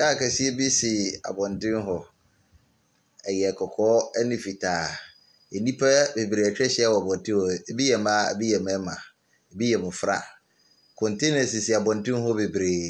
Kaa kɛseɛ bi si abɔntene hɔ, ɛyɛ kɔkɔɔ ɛne fitaa. Enipa bebree atwa ahyia wɔ abɔnten hɔ, ebiyɛ maa ebi yɛ mɛɛma, ebi yɛ mmɔfra. Kɔntena sisi abɔnten hɔbebree,